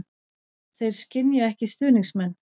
Þeir skynja ekki stuðningsmenn.